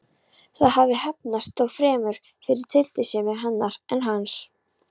Það hafði heppnast, þó fremur fyrir tilstilli hennar en hans.